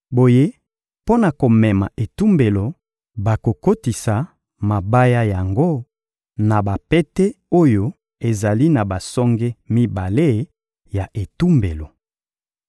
Boye, mpo na komema etumbelo, bakokotisa mabaya yango na bapete oyo ezali na basonge mibale ya etumbelo.